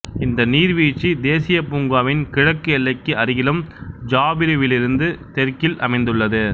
இந்த நீர்வீழ்ச்சி தேசிய பூங்காவின் கிழக்கு எல்லைக்கு அருகிலும் ஜாபிருவிலிருந்து தெற்கில் அமைந்துள்ளது